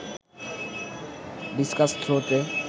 discuss থ্রোতে